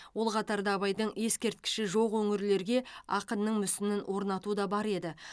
ол қатарда абайдың ескерткіші жоқ өңірлерге ақынның мүсінін орнату да бар еді